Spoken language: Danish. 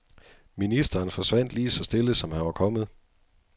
Ministeren forsvandt lige så stille, som han var kommet.